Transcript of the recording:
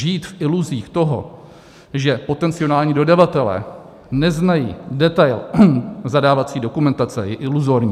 Žít v iluzích toho, že potenciální dodavatelé neznají detail zadávací dokumentace, je iluzorní.